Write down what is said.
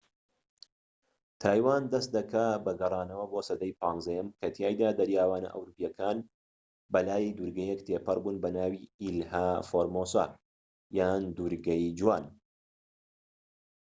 تایوان دەست دەکات بە گەڕانەوە بۆ سەدەی 15یەم کە تیایدا دەریاوانە ئەوروپیەکان بە لای دوورگەیەک تێپەڕ بوون بە ناوی ئیلها فۆرمۆسا یان دوورگەی جوان